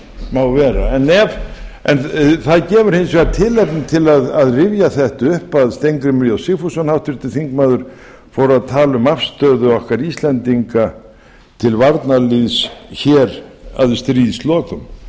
má vera það gefur hins vegar tilefni að rifja þetta upp að steingrímur j sigfússon háttvirtan þingmann fór að tala um afstöðu okkar íslendinga til varnarliðs hér að stríðslokum þeir